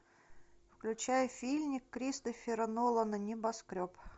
включай фильмик кристофера нолана небоскреб